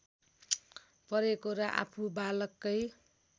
परेको र आफू बालकै